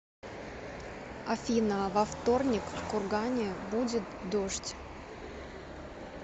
афина во вторник в кургане будет дождь